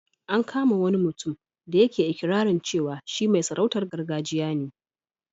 An kama wani mutum da yake iƙirarin cewa shi mai sarautar gargajiya ne.